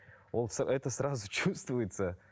ол это сразу чувствуется